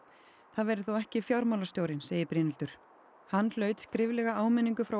það verði þó ekki segir Brynhildur hann hlaut skriflega áminningu frá